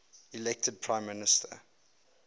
elected prime minister